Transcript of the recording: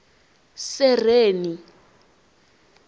sereni